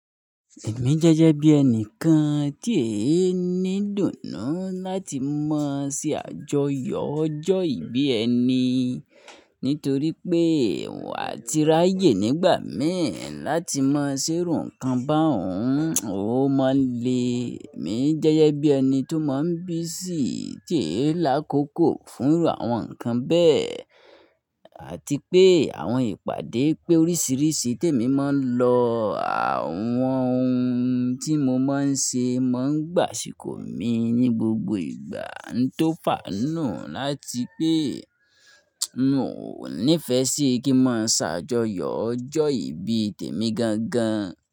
Èmi jẹ́jẹ́ bí ẹni kan tí èé ní idùnnú láti mọ̀ sí àjọyọ̀ ọjọ́ ìbí ẹni, nítorí pé n wà tirayẹ̀ nígbà mi láti mọ̀ ṣírù nǹkan bá òun, ó máa le. Èmi jẹ́jẹ́ bí ẹni tó máa ń busy tí èé lákòókò fúnrú àwọn nǹkan bẹ́ẹ̀, àti pé àwọn ìpàdé pé oríṣìíríṣìí tí èmi máa ń lọ, àwọn ohun tí mo máa ń ṣe máa ń gbàṣikọ̀ mi ní gbogbo ìgbà tó fàánù láti pé mi ò nífẹ̀ẹ́ sí kí n máa ṣàjọyọ̀ ọjọ́ ìbí tèmi gan gan.